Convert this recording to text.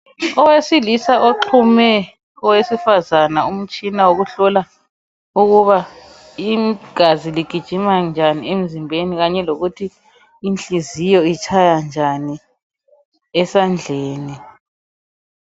Owesilisa onxume owesifazana umtshina wokuhlola ukuba igazi ligijima njani emzimbeni kanye lokuthi inhliziyo itshaya njani esandleni.